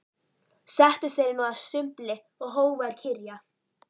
Settust þeir nú að sumbli og hófu að kyrja